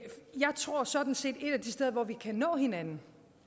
tror sådan set at et af de steder hvor vi kan nå hinanden